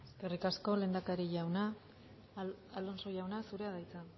eskerrik asko lehendakari jauna alonso jauna zurea da hitza